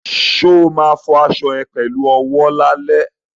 Ṣo ma fọ aṣọ ẹ pẹ̀lú owó lálẹ́?